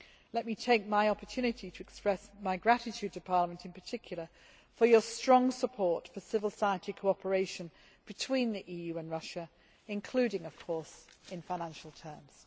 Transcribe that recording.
Let me take my opportunity to express my gratitude to Parliament, in particular, for your strong support for civil society cooperation between the EU and Russia, including of course in financial terms.